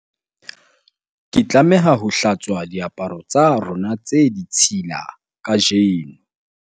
ke tlameha ho hlatswa diaparo tsa rona tse ditshila kajeno